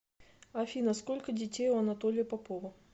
афина сколько детей у анатолия попова